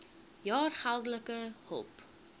jaar geldelike hulp